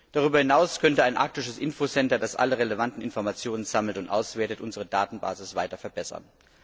Darüber hinaus könnte ein arktisches Info Center, das alle relevanten Informationen sammelt und auswertet, unsere Datenbasis weiter verbessern.